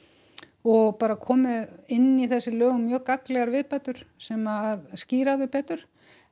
og bara komið inn í þessi lög mjög gagnlegar viðbætur sem skýra þau betur